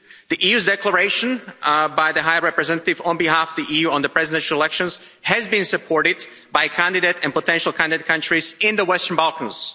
The declaration made by the High Representative, on behalf of the EU, on the presidential elections has been supported by candidate and potential candidate countries in the Western Balkans.